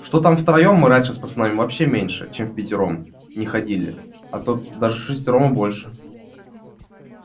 что там втроём мы раньше с пацанами вообще меньше чем впятером не ходили а то даже вшестером и больше